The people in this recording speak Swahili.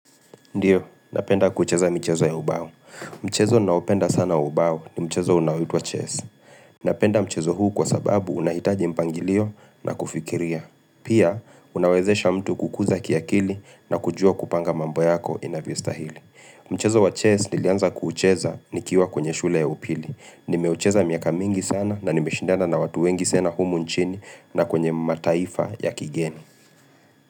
Ndiyo, napenda kucheza mchezo ya ubao. Mchezo naopenda sana ubao ni mchezo unaoitwa chess. Napenda mchezo huu kwa sababu unahitaji mpangilio na kufikiria. Pia, unawezesha mtu kukuza kia kili na kujua kupanga mambo yako inavyostahili. Mchezo wa chess nilianza kuucheza nikiwa kwenye shule ya upili. Nimeucheza miaka mingi sana na nimeshindana na watu wengi sana humu nchini na kwenye mataifa ya kigeni.